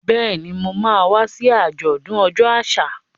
Bẹ́ẹ̀ni, Mo ma wá sí àjọ̀dún ọjọ́ àṣà.